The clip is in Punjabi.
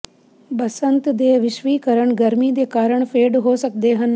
ਬਸੰਤ ਦੇ ਵਿਸ਼ਵੀਕਰਨ ਗਰਮੀ ਦੇ ਕਾਰਣ ਫੇਡ ਹੋ ਸਕਦੇ ਹਨ